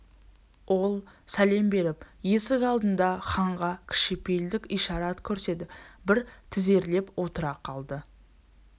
ол сәлем беріп есік алдында ханға кішіпейілдік ишарат көрсетіп бір тізерлеп отыра қалды